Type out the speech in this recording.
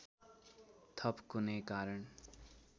थप कुनै कारण